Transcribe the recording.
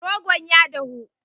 Rogon ya dahu.